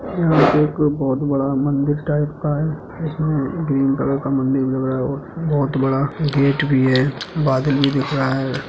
यहां पर एक बहुत बड़ा मंदिर टाइप का है इसमें ग्रीन कलर का मंदिर लग रहा है और बहुत बडा गेट भी है। बादल भी दिख रहा है।